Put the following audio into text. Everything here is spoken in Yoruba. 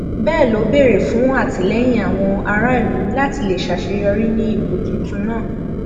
bẹẹ ló béèrè fún àtìlẹyìn àwọn aráàlú láti lè ṣàṣeyọrí ní ipò tuntun náà